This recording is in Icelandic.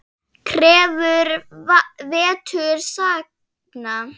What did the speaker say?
Krefur vetur sagna.